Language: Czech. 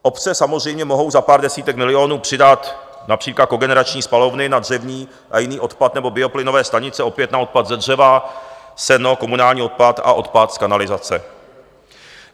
Obce samozřejmě mohou za pár desítek milionů přidat například kogenerační spalovny na dřevní a jiný odpad nebo bioplynové stanice opět na odpad ze dřeva, seno, komunální odpad a odpad z kanalizace.